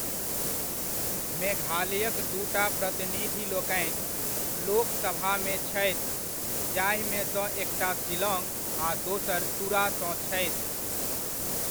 मेघालयक दूटा प्रतिनिधिलोकनि लोकसभामे छथि, जाहिमेसँ एकटा शिलॉङ्ग आ दोसर तुरा सँ छथि।